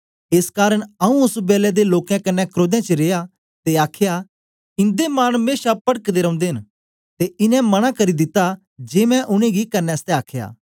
एस कारन आऊँ ओस बेलै दे लोकें कन्ने क्रोधें च रिया ते आखया ईदे मन मेशा पटकदे रौंदे न ते इनें मनां करी दिता जे मैं उनेंगी करने आसतै आखया